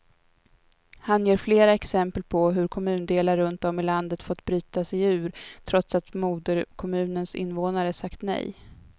Han ger flera exempel på hur kommundelar runt om i landet fått bryta sig ur, trots att moderkommunens invånare sagt nej.